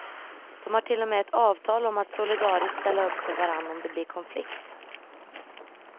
De har till och med ett avtal om att solidariskt ställa upp för varandra om det blir konflikt.